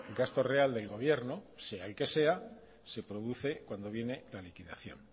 gasto real del gobierno sea el que sea se produce cuando viene la liquidación